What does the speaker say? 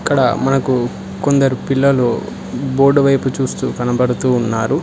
ఇక్కడ మనకు కొందరు పిల్లలు బోర్డు వైపు చూస్తూ కనబడుతూ ఉన్నారు.